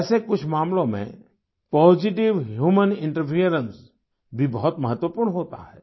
वैसे कुछ मामलों में पॉजिटिव ह्यूमन इंटरफेरेंस भी बहुत महत्वपूर्ण होता है